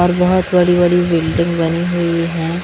और बहोत बड़ी बड़ी बिल्डिंग बनी हुई हैं।